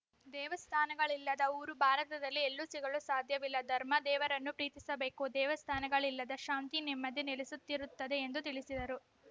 ದೇವಸ್ಥಾನಗಳಿಲ್ಲದ ಊರು ಭಾರತದಲ್ಲಿ ಎಲ್ಲೂ ಸಿಗಲು ಸಾಧ್ಯವಿಲ್ಲ ಧರ್ಮ ದೇವರನ್ನು ಪ್ರೀತಿಸಬೇಕು ದೇವಸ್ಥಾನಗಳಿದ್ದಲ್ಲಿ ಶಾಂತಿ ನೆಮ್ಮದಿ ನೆಲೆಸಿರುತ್ತದೆ ಎಂದು ತಿಳಿಸಿದರು